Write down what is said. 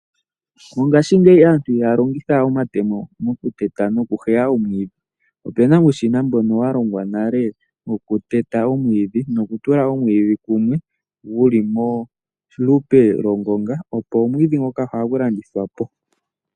Mongaashingeyi aantu ihaya longitha we omatemo mo kuteta, nomo ku heya omwiidhi. Opena uushina mbono wa longwa nale wo kutaya omwiidhi, noku tula omwiidhi kumwe, wuli mo kupe lwo ngonga, opo omwiidhi ngoka hagu landithwapo.